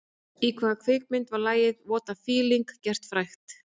"Í hvaða kvikmynd var lagið ""What a feeling"" gert frægt?"